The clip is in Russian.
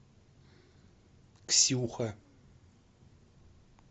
ксюха